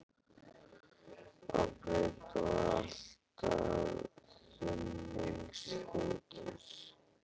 á breidd og allt að þumlungsþykkir.